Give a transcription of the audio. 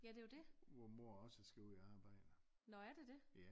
Hvor mor også skal i ud i arbejde